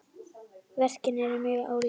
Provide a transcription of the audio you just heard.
Verkin eru mjög ólík.